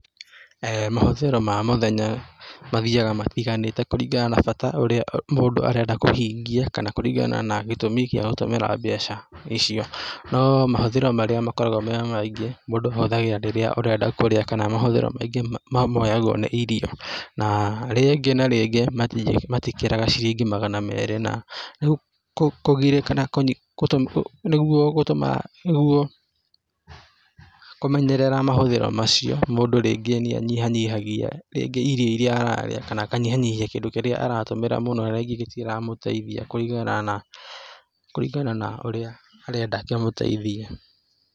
Mahũthĩro ma mũthenya mathiaga matiganĩte kũringana na bata ũrĩa mũndũ arenda kũhingia kana kũringana na gĩtumi gĩa gũtũmĩra mbeca icio, no mahũthĩro marĩa makoragwo me maingĩ mũndũ ahũthagĩra rĩrĩa arenda kũrĩa kana mahũthĩro maingĩ ma mũyagwo nĩ irio na rĩngĩ na rĩngĩ matikĩrĩga ciringi magana merĩ na kũgirĩka, nĩguo gũtũma, nĩguo kũmenyerera mahũthĩro macio mũndũ rĩngĩ nĩa nyiha nyihagia rĩngĩ irio iria ararĩa kana aka nyiha nyihia kĩndũ kĩrĩa aratũmĩra mũno na rĩngĩ gĩtira kũgeithia kũringana na, kũringa na harĩa arenda kĩmũteithie.